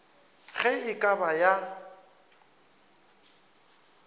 ge e ka ba ya